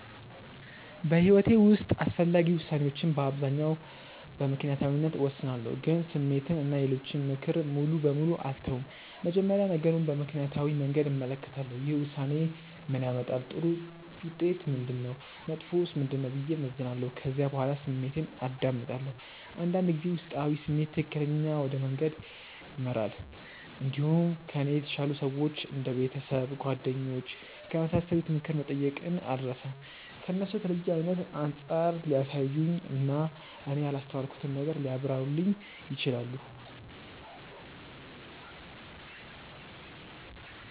በሕይወቴ ውስጥ አስፈላጊ ውሳኔዎችን በአብዛኛው በምክንያታዊነት እወስናለሁ፣ ግን ስሜትን እና የሌሎችን ምክር ሙሉ በሙሉ አልተውም። መጀመሪያ ነገሩን በምክንያታዊ መንገድ እመለከታለሁ። ይህ ውሳኔ ምን ያመጣል? ጥሩ ውጤቱ ምንድነው? መጥፎውስ ምንድነው? ብዬ እመዝናለሁ። ከዚያ በኋላ ስሜቴን አዳምጣለሁ። አንዳንድ ጊዜ ውስጣዊ ስሜት ትክክለኛ ወደ መንገድ ይመራል። እንዲሁም ከእኔ የተሻሉ ሰዎች እንደ ቤተሰብ፣ ጓደኞች ከመሳሰሉት ምክር መጠየቅን አልርሳም። እነሱ ከተለየ አይነት አንጻር ሊያሳዩኝ እና እኔ ያላስተዋልኩትን ነገር ሊያብራሩልኝ ይችላሉ።